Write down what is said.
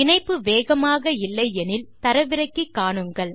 இணைப்பு வேகமாக இல்லை எனில் தரவிறக்கி காணுங்கள்